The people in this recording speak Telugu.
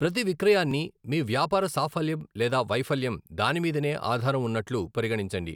ప్రతి విక్రయాన్ని మీ వ్యాపార సాఫల్యం లేదా వైఫల్యం దాని మీదనే ఆధారం అన్నట్లు పరిగణించండి.